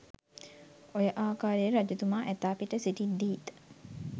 ඔය ආකාරයට රජතුමා ඇතා පිට සිටිද්දීත්